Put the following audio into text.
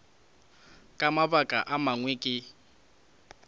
ka mabaka a mangwe ke